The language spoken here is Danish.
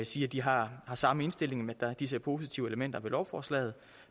sige at de har samme indstilling de ser positive elementer i lovforslaget